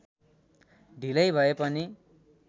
ढिलै भए पनि